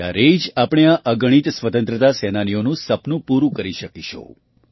ત્યારે જ આપણે આ અગણિત સ્વતંત્રતા સેનાનીઓનું સપનું પૂરું કરી શકીશું